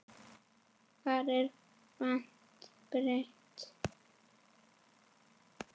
Það er allt breytt.